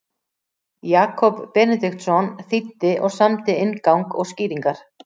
Jakob Benediktsson þýddi og samdi inngang og skýringar.